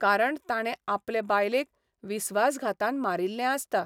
कारण ताणे आपले बायलेक विस्वासघातान मारिल्लें आसता.